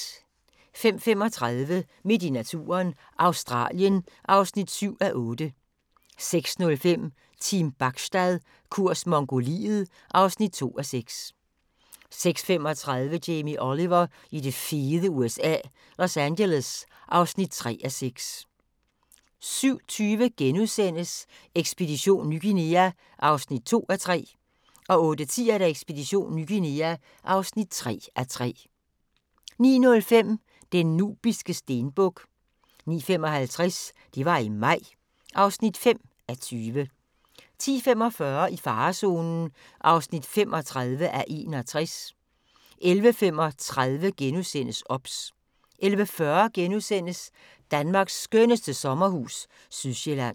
05:35: Midt i naturen – Australien (7:8) 06:05: Team Bachstad – kurs Mongoliet (2:6) 06:35: Jamie Oliver i det fede USA – Los Angeles (3:6) 07:20: Ekspedition Ny Guinea (2:3)* 08:10: Ekspedition Ny Guinea (3:3) 09:05: Den nubiske stenbuk 09:55: Det var i maj (5:20) 10:45: I farezonen (35:61) 11:35: OBS * 11:40: Danmarks skønneste sommerhus – Sydsjælland *